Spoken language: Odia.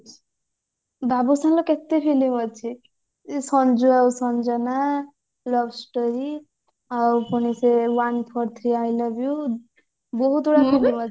ବାବୁସାନ ର କେତେ film ଅଛି ସଞ୍ଜୁ ଆଉ ସଞ୍ଜନା love story ଆଉ ପୁଣି ସେ one four three I love you ବହୁତ ଅଛି